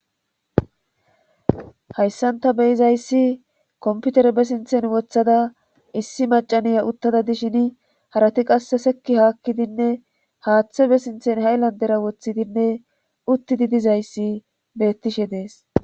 hayssanta beyizayssi komputere be sinthen woththada issi macaniya uttada dishin harati qasse sekki haakkidinne haaththe be sinthen haylan dera woththidinne uttidi dizayssi bettishe dees